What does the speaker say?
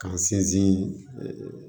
K'an sinsin